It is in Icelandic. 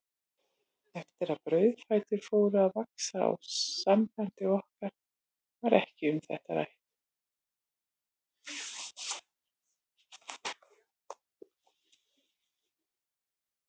Eftir að brauðfætur fóru að vaxa á sambandi okkar var ekki um þetta rætt.